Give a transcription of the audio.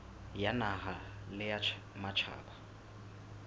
ya naha le ya matjhaba